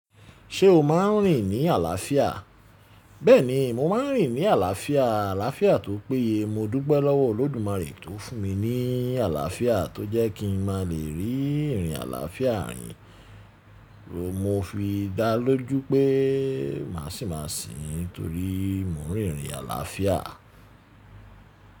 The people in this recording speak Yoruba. Ṣé o máa ń rìn ní àlàáfíà? Bẹ́ẹ̀ni, mo máa ń rìn ní àlàáfíà. Àlàáfíà tó péye. Mo dúpe lọ́wọ́ Ọlọ́dumare tó fún mi ní àlàáfíà tó jẹ́ kí n má lè rí ìrìn àlàáfíà rìn. Mo fi dá lójú pé màsìmàsìn nítorí mo rìn ìrìn àlàáfíà.